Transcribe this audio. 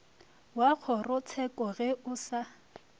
wa kgorotsheko ge o sa